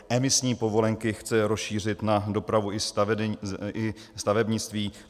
Emisní povolenky chce rozšířit na dopravu i stavebnictví.